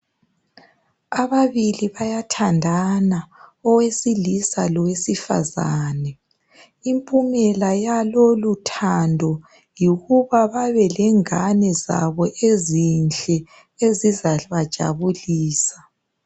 Ababili bayathandana owesilisa lowesifazane impumela yaloluthando yikuba babe lengane zabo ezinhle ezizabajabulisa.